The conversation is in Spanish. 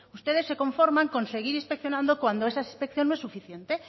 ustedes se conforman con seguir inspeccionando cuando esa inspección no es suficiente